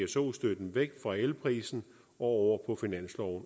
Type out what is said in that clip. pso støtten væk fra elprisen og